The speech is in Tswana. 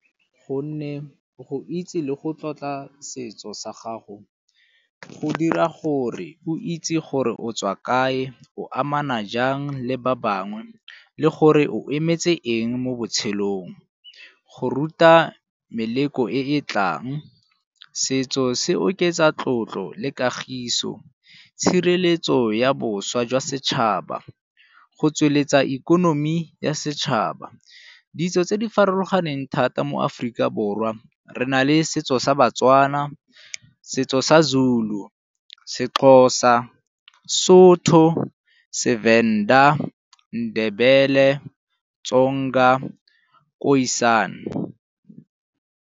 Gonne go itse le go tlotla setso sa gago go dira gore o itse gore o tswa kae, o amana jang le ba bangwe le gore o emetse eng mo botshelong. Go ruta meleko e e tlang, setso se oketsa tlotlo le kagiso tshireletso ya boswa jwa setšhaba, go tsweletsa ikonomi ya setšhaba. Ditso tse di farologaneng thata mo Aforika Borwa re na le setso sa baTswana, setso sa Zulu, seXhosa, Sotho, seVenda, Ndebele, Tsonga, Khoisan.